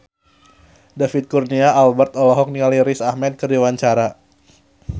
David Kurnia Albert olohok ningali Riz Ahmed keur diwawancara